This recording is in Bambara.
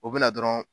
O bɛna dɔrɔn